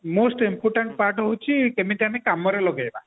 most important part ହଉଛି କେମିତି ଆମେ କାମରେ ଲଗେଇବା